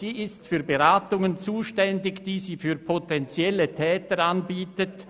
Sie ist für Beratungen zuständig, die sie für potenzielle Täter anbietet.